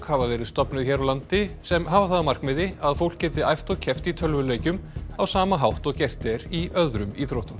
hafa verið stofnuð hér á landi sem hafa það að markmiði að fólk geti æft og keppt í tölvuleikjum á sama hátt og gert er í öðrum íþróttum